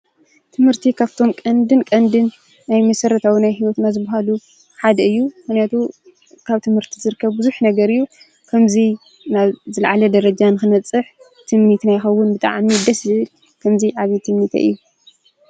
ትምህርቲ ካፍቶም ቀንድን ቀንድን ናይ መሠረታውን ናይ ህይወትና ዝበሃሉ ሓደ እዩ፡፡ ምኽንያቱ ካብ ትምህርቲ ዝርከብ ብዙሕ ነገር እዩ፡፡ ከምዙይ ናብ ዝለዓለ ደረጃ ንክንበፅሕ ትምኒትና ይኸውን፡፡ ብጣዕሚ ደስ ዝብል፡፡ ከምዚ ዓብዪ ትምኒተይ እዩ፡፡